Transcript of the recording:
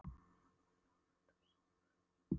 Hann hjálpaði henni á fætur og saman vögguðu þau